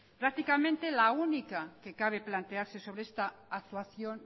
prácticamente la única que cabe plantearse sobre esta actuación